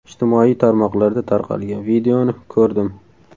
Ijtimoiy tarmoqlarda tarqalgan videoni ko‘rdim.